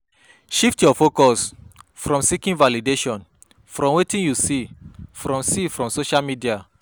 Shift your focus from seeking validation from wetin you see from see from social media